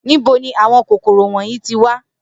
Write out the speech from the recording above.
Nibo ni awọn kokoro wọnyi ti wa?